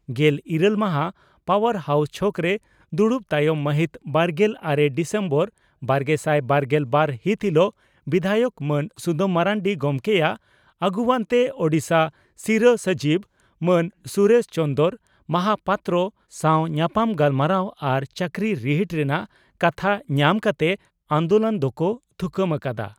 ᱜᱮᱞ ᱤᱨᱟᱹᱞ ᱢᱟᱦᱟ ᱯᱟᱣᱟᱨ ᱦᱟᱣᱥ ᱪᱷᱚᱠᱨᱮ ᱫᱩᱲᱩᱵ ᱛᱟᱭᱚᱢ ᱢᱟᱹᱦᱤᱛ ᱵᱟᱨᱜᱮᱞ ᱟᱨᱮ ᱰᱤᱥᱮᱢᱵᱚᱨ ᱵᱟᱨᱜᱮᱥᱟᱭ ᱵᱟᱨᱜᱮ ᱵᱟᱨ ᱦᱤᱛ ᱦᱤᱞᱚᱜ ᱵᱤᱫᱷᱟᱭᱚᱠ ᱢᱟᱱ ᱥᱩᱫᱟᱹᱢ ᱢᱟᱨᱱᱰᱤ ᱜᱚᱢᱠᱮᱭᱟᱜ ᱟᱹᱜᱩᱣᱟᱹᱱᱛᱮ ᱳᱰᱤᱥᱟ ᱥᱤᱨᱟᱹ ᱥᱚᱪᱤᱵᱽ ᱢᱟᱱ ᱥᱩᱨᱮᱥ ᱪᱚᱱᱫᱽᱨᱚ ᱢᱚᱦᱟᱯᱟᱛᱨᱚ ᱥᱟᱣ ᱧᱟᱯᱟᱢ ᱜᱟᱞᱢᱟᱨᱟᱣ ᱟᱨ ᱪᱟᱹᱠᱨᱤ ᱨᱤᱦᱤᱴ ᱨᱮᱱᱟᱜ ᱠᱟᱛᱷᱟ ᱧᱟᱢ ᱠᱟᱛᱮ ᱟᱱᱫᱚᱞᱚᱱ ᱫᱚᱠᱚ ᱛᱷᱩᱠᱟᱹᱢ ᱟᱠᱟᱫᱼᱟ ᱾